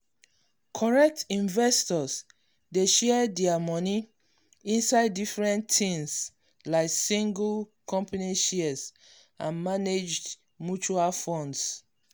correct investors dey share dia money inside different tins like single company shares and managed mutual funds.